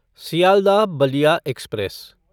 Sealdah Ballia express